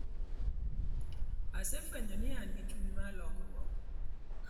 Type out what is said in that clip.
Asefwenyo ni an gi chuny mar timo lokruok.